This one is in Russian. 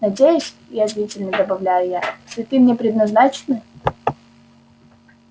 надеюсь язвительно добавляю я цветы мне предназначены